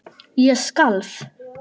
Ég skalf.